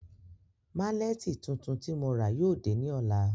Màlẹ́ti tuntun ti mo rà yóò dẹ ni ọla.